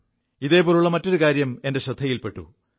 ഇതുപോലെയുള്ള മറ്റൊരു കാര്യം എന്റെ ശ്രദ്ധയിൽ പെു